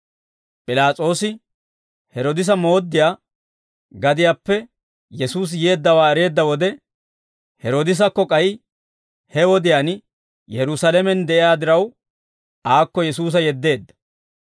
P'ilaas'oosi Heroodise mooddiyaa gadiyaappe Yesuusi yeeddawaa ereedda wode, Heroodisekka k'ay he wodiyaan Yerusaalamen de'iyaa diraw, aakko Yesuusa yeddeedda.